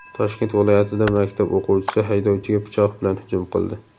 Toshkent viloyatida maktab o‘quvchisi haydovchiga pichoq bilan hujum qildi.